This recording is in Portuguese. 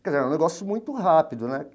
Quer dizer, era um negócio muito rápido, né?